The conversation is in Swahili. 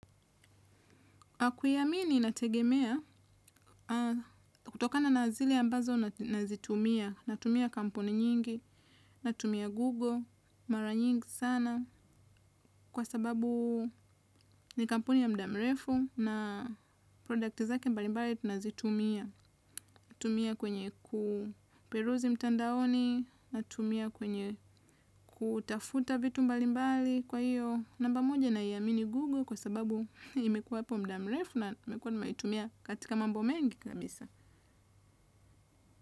Kuiamini inategemea, kutokana na zile ambazo nazitumia, natumia kampuni nyingi, natumia Google, mara nyingi sana, kwa sababu ni kampuni ya mudamrefu na products zake mbalimbali tunazitumia. Natumia kwenye kuperuzi mtandaoni, natumia kwenye kutafuta vitu mbalimbali kwa hio. Namba moja na iamini Google kwa sababu imekuwa hapo muda mrefu na nimekuwa nimeitumia katika mambo mengi kabisa.